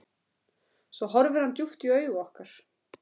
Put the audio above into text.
Svo horfði hann djúpt í augu okkar.